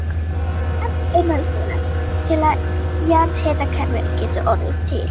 Tvennt er nauðsynlegt til að jarðhitakerfi geti orðið til.